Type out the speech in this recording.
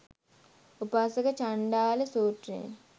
උපාසක චණ්ඩාල සූත්‍රයෙන්,